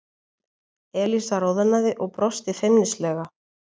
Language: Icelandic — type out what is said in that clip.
Elísa roðnaði og brosti feimnislega.